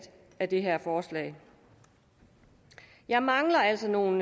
af det her forslag jeg mangler altså nogle